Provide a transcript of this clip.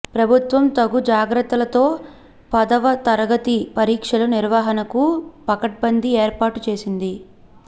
ప్రభుత్వం తగు జాగ్రత్తలతో పదవ తరగతి పరీక్షల నిర్వహణకు పకడ్బంది ఏర్పాటు చేసింది